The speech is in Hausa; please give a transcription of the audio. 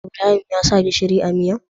Ibrahim ya sa gishiri a miyar?